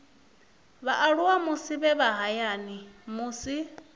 vhaaluwa musi vhe hayani musi